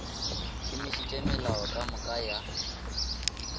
šomišitše melao ka moka ya